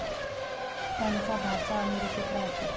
त्यांचा भाचा अमेरिकेत राहतो.